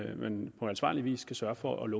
at man på ansvarlig vis skal sørge for at